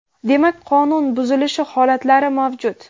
demak qonun buzilish holatlari mavjud.